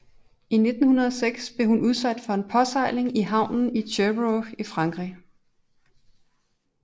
I 1906 blev hun udsat for en påsejling i havnen i Cherbourg i Frankrig